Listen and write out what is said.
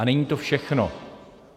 A není to všechno.